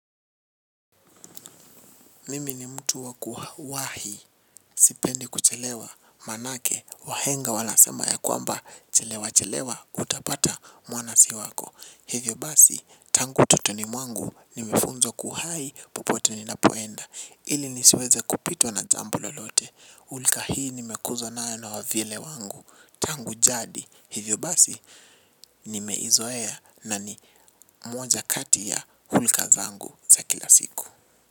Mimi ni mtu waku wahi, sipendi kuchelewa, maanake, wahenga wanasema ya kwamba, chelewachelewa, utapata mwana si wako. Hivyo basi, tangu utotoni mwangu, nimefunzwa kuhai, popote ni ninapoenda. Ili nisiweze kupitwa na jambo lolote hulka hii nimekuzwa nayo na wavyele wangu. Tangu jadi, hivyo basi, nimeizoea na ni moja kati ya hulka zangu za kila siku.